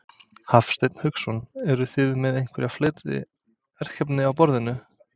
Hafsteinn Hauksson: Eruð þið með einhver fleiri verkefni á borðinu?